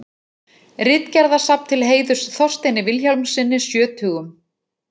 Ritgerðasafn til heiðurs Þorsteini Vilhjálmssyni sjötugum.